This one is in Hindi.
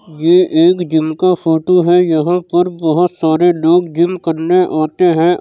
ये एक जिम का फोटो है यहाँ पर बहुत सारे लोग जिम करने आते है।